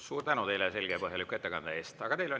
Suur tänu teile selge ja põhjaliku ettekande eest!